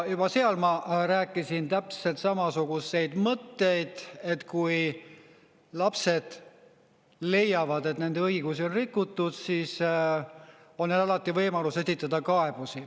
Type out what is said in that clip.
Juba seal ma rääkisin täpselt samasuguseid mõtteid, et kui lapsed leiavad, et nende õigusi on rikutud, siis on alati võimalus esitada kaebusi.